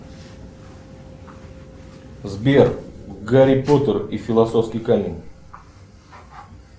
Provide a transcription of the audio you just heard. сбер гарри поттер и философский камень